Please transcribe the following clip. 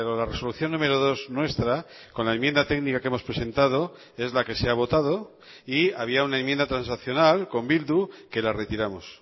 la resolución número dos nuestra con la enmienda técnica que hemos presentado es la que se ha votado y había una enmienda transaccional con bildu que la retiramos